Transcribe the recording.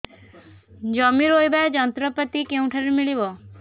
ଜମି ରୋଇବା ଯନ୍ତ୍ରପାତି କେଉଁଠାରୁ ମିଳିବ